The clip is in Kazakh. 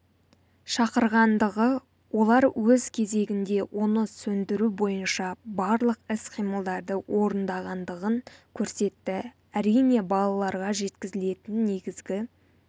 шақырғандығы олар өз кезегінде оны сөндіру бойынша барлық іс-қимылдарды орындағандығын көрсетті әрине балаларға жеткізілетін негізгі